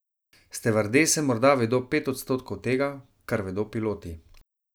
Stevardese morda vedo pet odstotkov tega, kar vedo piloti.